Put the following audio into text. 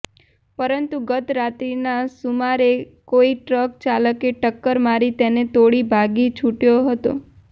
પરંતુ ગત રાત્રીના સુમારે કોઈ ટ્રક ચાલકે ટક્કર મારી તેને તોડી ભાગી છુટયો હતો